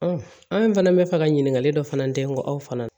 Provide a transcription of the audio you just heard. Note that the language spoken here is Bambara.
an fana bɛ fɛ ka ɲininkali dɔ fana kɛ n ko aw fana